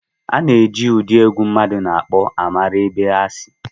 A na-eji ụdị egwu mmadụ na-akpọ mara ebe ha si